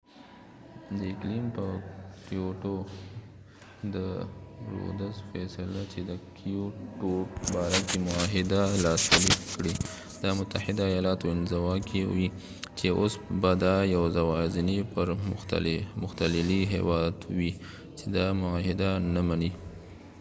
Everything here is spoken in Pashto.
د رودز فیصله چې د کېوټو kyotoد اقلیم په باره کې معاهده لاسلیک کړي، دا متحده ایالات انزوا کوي چې او س به دا یواځنی پرمختللی هیواد وي چې دا معاهده نه منی